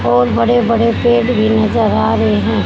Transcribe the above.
और बड़े बड़े पेड़ भी नजर आ रहे हैं।